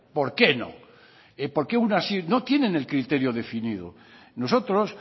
por qué no porque unas sí no tienen el criterio definido nosotros